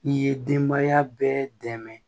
I ye denbaya bɛɛ dɛmɛ